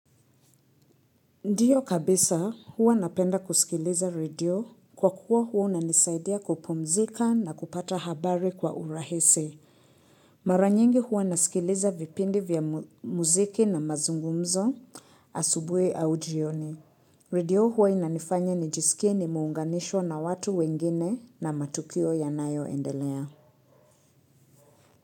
Ndiyo kabisa huwa napenda kusikiliza redio kwa kuwa huwa unanisaidia kupumzika na kupata habari kwa urahisi. Mara nyingi huwa nasikiliza vipindi vya muziki na mazungumzo asubuhi au jioni. Redio huwa inanifanya nijisikie nimeunganishwa na watu wengine na matukio yanayoendelea.